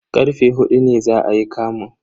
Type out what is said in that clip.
Karfe huɗu ne za ayi kamun.